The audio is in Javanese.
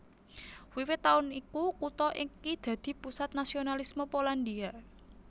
Wiwit taun iku kutha iki dadi pusat nasionalisme Polandia